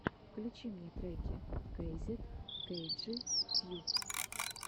включи мне треки кейзет кейджи тьюб